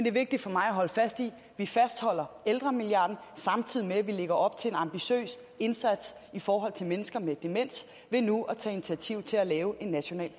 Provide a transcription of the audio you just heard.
er vigtigt for mig at holde fast i at vi fastholder ældremilliarden samtidig med at vi lægger op til en ambitiøs indsats i forhold til mennesker med demens ved nu at tage initiativ til at lave en national